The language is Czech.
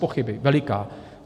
Bezpochyby, veliká.